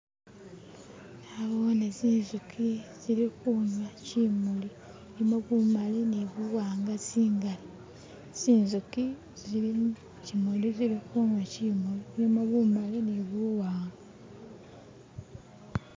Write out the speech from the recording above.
naboone zinzuki zili kunywa kyimuli ishilimo bumali ni buwanga tsingali, zinzuki zili kuchimuli zili kunywa chimuli chilimo bumaali ne buwanga